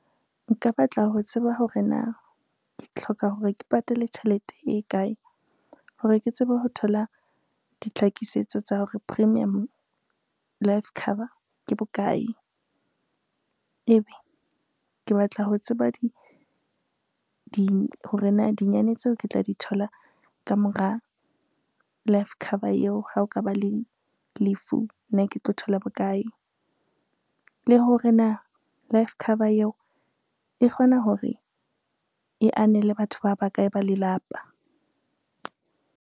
Nka batla ho tseba hore na, ke hloka hore ke patale tjhelete e kae hore ke tsebe ho thola ditlhakisetso tsa hore premium life cover ke bokae. Ebe ke batla ho tseba hore na dinyane tseo ke tla di thola ka mora life cover eo, ha o ka ba le lefu nna ke tlo thola bokae. Le hore na life cover eo e kgona hore e anele batho ba bakae ba lelapa.